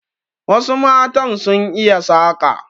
Wasu matan sun iya saƙa.